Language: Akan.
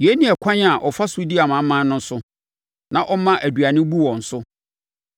Yei ne ɛkwan a ɔfa so di amanaman no so na ɔma aduane bu wɔn so.